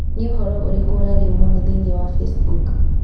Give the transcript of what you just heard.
Nĩ ũhoro ũrĩkũ ũrarĩrĩo mũno thĩinĩ wa Facebook?